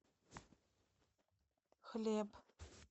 хлеб